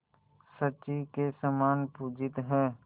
शची के समान पूजित हैं